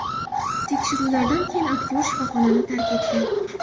Tekshiruvlardan keyin aktyor shifoxonani tark etgan.